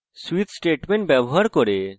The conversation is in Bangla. switch statement ব্যবহার করে